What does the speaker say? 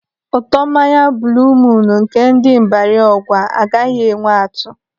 Ụtọ mmanya buuluu muun nke ndị Ibarị Ọgwa agaghị enwe atụ.